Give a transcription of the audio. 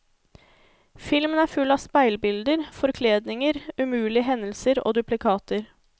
Filmen er full av speilbilder, forkledninger, umulige hendelser og duplikater.